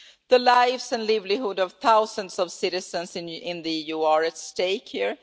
The lives and livelihoods of thousands of citizens in the EU are at stake here.